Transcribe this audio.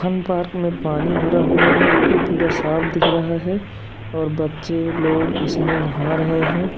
Park में पानी भरा हुआ है जो कि पूरा साफ दिख रहा है और बच्चे लोग इसमें नहा रहे हैं।